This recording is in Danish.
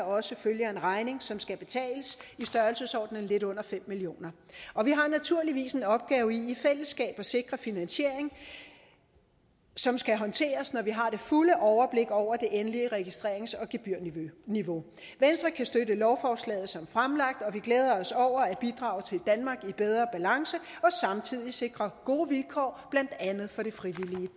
også følger en regning som skal betales i størrelsesordenen lidt under fem million kr og vi har naturligvis en opgave i i fællesskab at sikre finansiering som skal håndteres når vi har det fulde overblik over det endelige registrerings og gebyrniveau venstre kan støtte lovforslaget som fremlagt og vi glæder os over at bidrage til et danmark i bedre balance og samtidig sikre gode vilkår blandt andet for det frivillige